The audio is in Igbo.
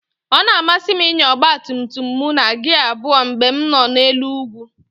Ọ na-amasị m ịnya ọgba tum tum m na gia abụọ mgbe m nọ n'elu ugwu